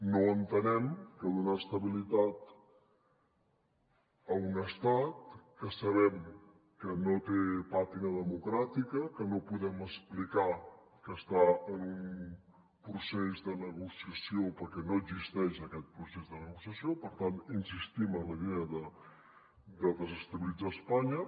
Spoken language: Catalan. no entenem que donar estabilitat a un estat que sabem que no té pàtina democràtica que no podem explicar que està en un procés de negociació perquè no existeix aquest procés de negociació per tant insistim en la idea de desestabilitzar espanya